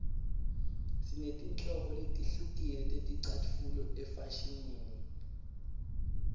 sinetinhlobo letihlukile teticatfulo efashinini